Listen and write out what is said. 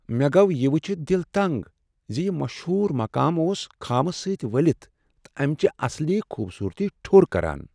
مےٚ گوٚو یہ وٕچھتھ دل تنٛگ ز یہ مشہوٗر مقام اوس خٲمہٕ سۭتۍ ؤلتھ تہٕ امِچہِ اصلی خوبصوٗرتی ٹھو٘ر كران ۔